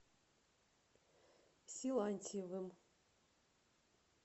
силантьевым